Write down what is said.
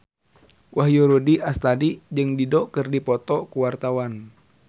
Wahyu Rudi Astadi jeung Dido keur dipoto ku wartawan